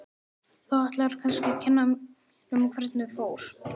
Þú ætlar kannski að kenna mér um hvernig fór.